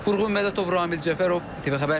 Furqan Mədətov, Ramil Cəfərov, TV xəbər.